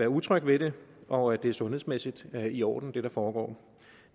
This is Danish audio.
utrygge ved det og at det sundhedsmæssigt er i orden det der foregår